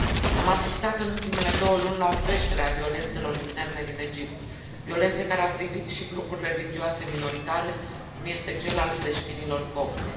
Am asistat în ultimele două luni la o creștere a violențelor interne din Egipt, violențe care au privit și grupuri religioase minoritare, cum este cel al creștinilor copți.